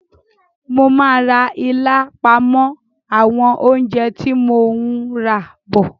Mo máa ra ilá pọ̀ mọ́ àwọn oúnjẹ tí mo ún rà bọ̀